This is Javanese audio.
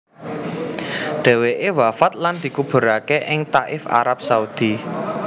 Dheweke wafat lan dikuburake ing Thaif Arab Saudi